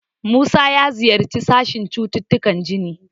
Musa ya ziyarci sashen cututtukan jini.